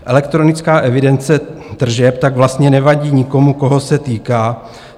Elektronická evidence tržeb tak vlastně nevadí nikomu, koho se týká.